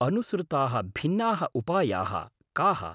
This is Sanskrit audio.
अनुसृताः भिन्नाः उपायाः काः?